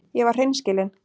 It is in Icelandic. Ég var hreinskilin.